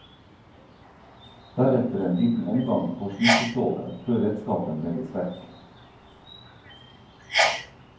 Deretter en liten omgang på slipestålet, før redskapen legges vekk.